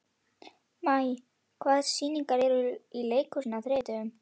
Maj, hvaða sýningar eru í leikhúsinu á þriðjudaginn?